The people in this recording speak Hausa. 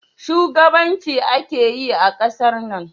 Shugabanci ake yi a ƙasar nan?